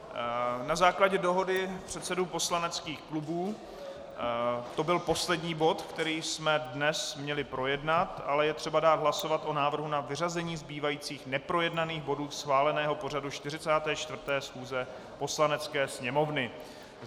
Na základě dohody předsedů poslaneckých klubů to byl poslední bod, který jsme dnes měli projednat, ale je třeba dát hlasovat o návrhu na vyřazení zbývajících neprojednaných bodů schváleného pořadu 44. schůze Poslanecké sněmovny.